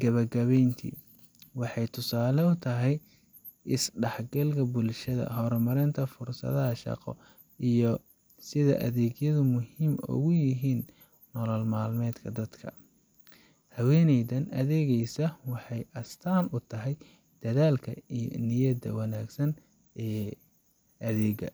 Gabagabayntii, waxay tusaale u tahay is dhexgalka bulshada, horumarka fursadaha shaqo, iyo sida adeegyadu muhiim ugu yihiin nolol maalmeedka dadka. Haweeneyda adeegaysa waxay astaan u tahay dadaalka iyo niyadda wanaagsan ee adeegga.